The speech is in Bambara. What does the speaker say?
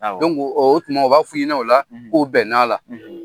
Awɔ; O tuma u b'a f' i hinɛ o la; K'u bɛn n'a la;